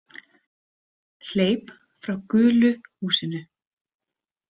Hleyp frá gulu húsinu.